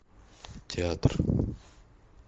театр